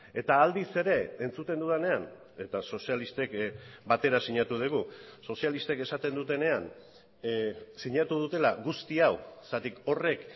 eta aldiz ere entzuten dudanean eta sozialistek batera sinatu dugu sozialistek esaten dutenean sinatu dutela guzti hau zergatik horrek